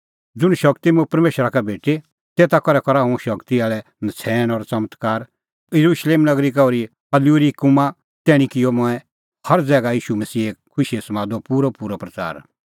ज़ुंण शगती मुंह परमेशरा का भेटी तेता करै करा हुंह शगती आल़ै नछ़ैण और च़मत्कार येरुशलेम नगरी का ओर्ही इल्लुरिकुमा तैणीं किअ मंऐं हर ज़ैगा ईशू मसीहे खुशीए समादो पूरअपूरअ प्रच़ार